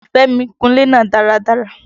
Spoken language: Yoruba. Fẹ́mi kun ilé náà dáradára.